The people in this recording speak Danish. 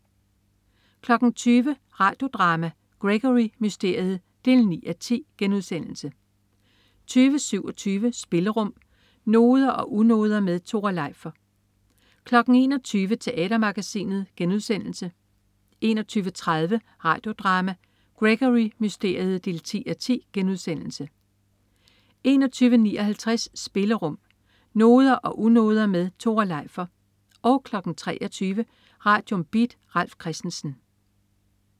20.00 Radio Drama: Gregory Mysteriet 9:10* 20.27 Spillerum. Noder og unoder med Tore Leifer 21.00 Teatermagasinet* 21.30 Radio Drama: Gregory Mysteriet 10:10* 21.59 Spillerum. Noder og unoder med Tore Leifer 23.00 Radium. Beat. Ralf Christensen